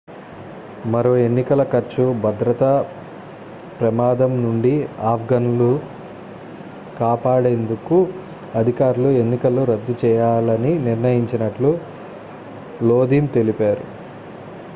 మరో ఎన్నికల ఖర్చు భద్రత ప్రమాదం నుండి ఆఫ్ఘన్లు కాపాడేందుకు అధికారులు ఎన్నికలను రద్దు చేయాలని నిర్ణయించినట్లు లోదిన్ తెలిపారు